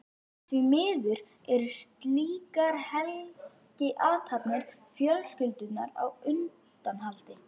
Því miður eru slíkar helgiathafnir fjölskyldunnar á undanhaldi.